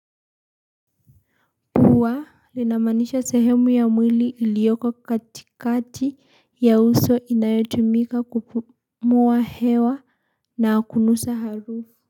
Puwa linamanisha sehemu ya mwili ilioko katikati ya uso inayotumika kupumua hewa na kunusa harufu.